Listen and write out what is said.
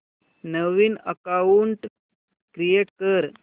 नवीन account create कर